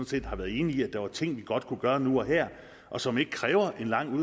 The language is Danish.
set har været enigt i at der var ting vi godt kunne gøre nu og her og som ikke krævede en lang